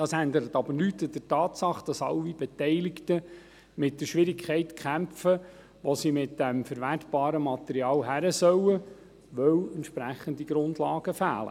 Das ändert nichts an der Tatsache, dass alle Beteiligten mit der Schwierigkeit kämpfen, wo sie mit dem verwertbaren Material hin sollen, da entsprechende Grundlagen fehlen.